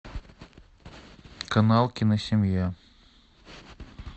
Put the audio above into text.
канал киносемья